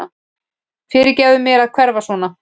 Fyrirgefðu mér að hverfa svona.